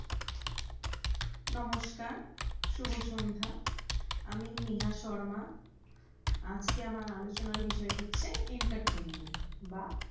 নমস্কার, শুভ সন্ধা, আমি নেহা শর্মা, আজকে আমার আলোচনার বিষয় হচ্ছে entertainment বা